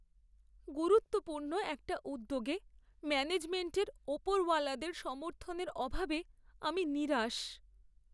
গুরুত্বপূর্ণ একটা উদ্যোগে ম্যানেজমেন্টের ওপরওয়ালাদের সমর্থনের অভাবে আমি নিরাশ।